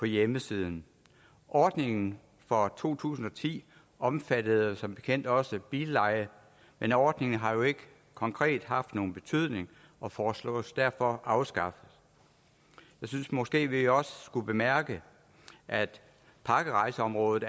hjemmeside ordningen for to tusind og ti omfattede som bekendt også billeje men ordningen har jo ikke konkret haft nogen betydning og foreslås derfor afskaffet jeg synes måske at vi også skulle bemærke at pakkerejseområdet